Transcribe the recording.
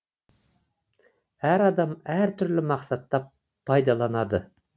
әр адам әр түрлі мақсатта пайдаланады